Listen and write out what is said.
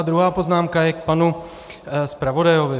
A druhá poznámka je k panu zpravodaji.